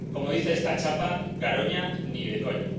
Como dice esta chapa, Garoña, ni de coña.